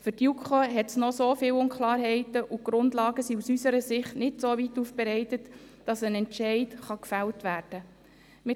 Für die JuKo bestehen noch so viele Unklarheiten, und die Grundlagen sind aus unserer Sicht noch nicht soweit aufbereitet, dass ein Entscheid gefällt werden kann.